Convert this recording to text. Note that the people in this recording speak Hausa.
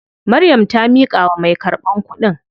Maryam ta miƙawa mai karɓan kuɗin.